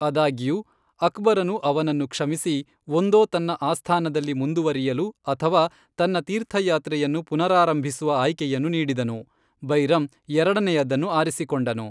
ಅದಾಗ್ಯೂ, ಅಕ್ಬರನು ಅವನನ್ನು ಕ್ಷಮಿಸಿ, ಒಂದೋ ತನ್ನ ಆಸ್ಥಾನದಲ್ಲಿ ಮುಂದುವರಿಯಲು ಅಥವಾ ತನ್ನ ತೀರ್ಥಯಾತ್ರೆಯನ್ನು ಪುನರಾರಂಭಿಸುವ ಆಯ್ಕೆಯನ್ನು ನೀಡಿದನು, ಬೈರಮ್ ಎರಡನೆಯದನ್ನು ಆರಿಸಿಕೊಂಡನು.